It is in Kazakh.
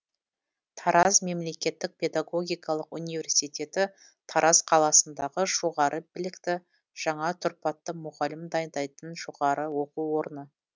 тараз мемлекеттік педагогикалық университеті тараз қаласындағы жоғары білікті жаңа тұрпатты мұғалім дайындайтын жоғары оқу орны